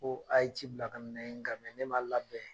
Ko a ye ci bila ka nga ne ma labɛn.